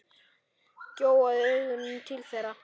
Gjóaði augunum til þeirra.